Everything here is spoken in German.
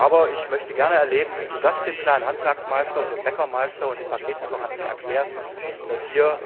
Aber ich möchte gerne erleben, wie du das dem kleinen Handwerksmeister und dem Bäckermeister und dem Paketlieferanten erklärst, dass hier